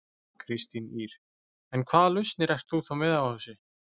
Kristín Ýr: En hvaða lausnir ert þú þá með á þessu?